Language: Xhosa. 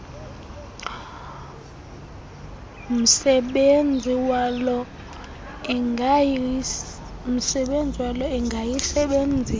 msebenzi walo ingayisebenzisa